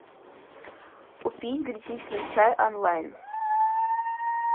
купить гречишный чай онлайн